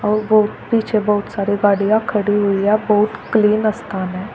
बहुत बहुत पीछे बहुत सारे गाड़ियां खड़ी हुई है बहुत क्लीन स्थान है।